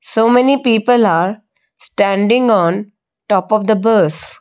so many people are standing on top of the bus.